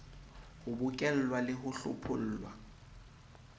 ho bokellwa le ho hlophollwa